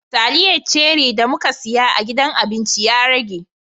Taliyar ceri da mun siya a gidan abinci ya rage.